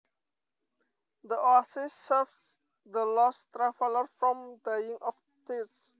The oasis saved the lost travelers from dying of thirst